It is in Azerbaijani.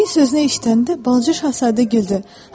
Fil sözünü eşitəndə Balaca Şahzadə güldü.